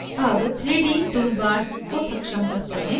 अब 3d toolbars को सक्षम करते हैं